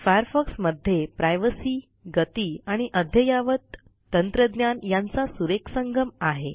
Firefox मध्ये privacy गती आणि अद्ययावत तंत्रज्ञान यांचा सुरेख संगम आहे